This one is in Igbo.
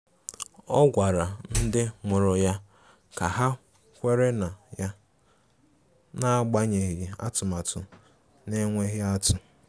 Ọ gwara ndị mụrụ ya ka ha kwere na ya, n'agbanyeghi atụmatụ na-enweghị atụ.